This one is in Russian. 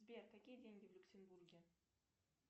сбер какие деньги в люксембурге